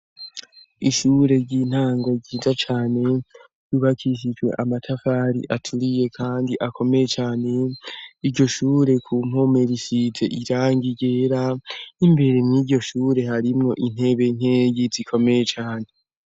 Ishure ry'intango ryiza cane yubakishijwe amatafari aturiye kandi akomeye cane, iryo shure ku mpome risize irangi ryera, n'imbere mw'iryo shure harimo intebe nkenyi zikomeye cane.